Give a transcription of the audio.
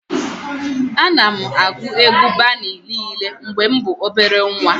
Ana m agụ egwu Bani niile mgbe mụ bụ obele nwa